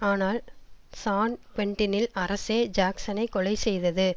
ஆனால் சான் க்வென்டினில் அரசே ஜாக்சனை கொலை செய்தது